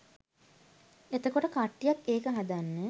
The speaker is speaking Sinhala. එතකොට කට්ටියක් ඒක හදන්න